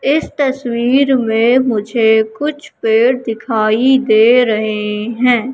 इस तस्वीर में मुझे कुछ पेड़ दिखाई दे रहे हैं।